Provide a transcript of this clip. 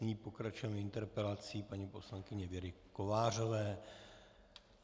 Nyní pokračujeme interpelací paní poslankyně Věry Kovářové.